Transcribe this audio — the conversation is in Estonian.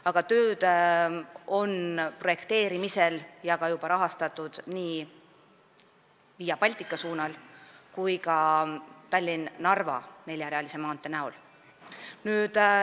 Aga tööd on projekteerimisel ja juba ka rahastatud nii Via Baltica suunal kui ka Tallinna–Narva neljarealise maantee ehitamisel.